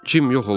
Cim yox olmuşdu.